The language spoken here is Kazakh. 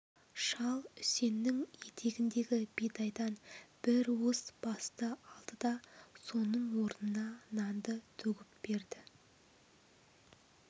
шал үсеннің етегіндегі бидайдан бір уыс басты алды да соның орнына нанды төгіп берді